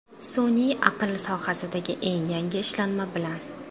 Sun’iy aql sohasidagi eng yangi ishlanma bilan!